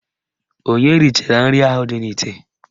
Onye richara nri ahụ dị n'ite?